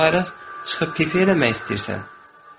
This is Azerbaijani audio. Yoxsa bayra çıxıb pip eləmək istəyirsən?